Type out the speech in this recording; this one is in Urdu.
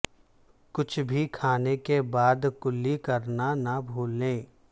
کچھ بھی کھانے کے بعد کلی کرنا نہ بھولیں